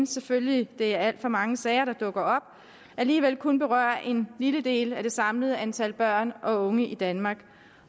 selvfølgelig er alt for mange sager der dukker op alligevel kun berører en lille del af det samlede antal børn og unge i danmark